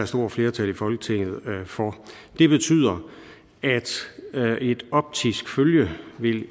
stort flertal i folketinget for det betyder at et optisk følge